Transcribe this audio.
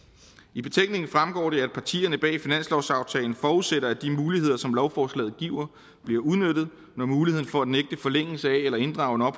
i betænkningen fremgår det at partierne bag finanslovsaftalen forudsætter at de muligheder som lovforslaget giver bliver udnyttet når muligheden for at nægte forlængelse af eller inddrage